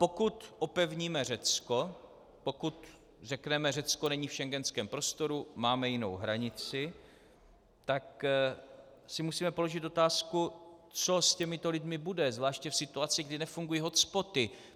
Pokud opevníme Řecko, pokud řekneme Řecko není v schengenském prostoru, máme jinou hranici, tak si musíme položit otázku, co s těmito lidmi bude, zvláště v situaci, kdy nefungují hotspoty.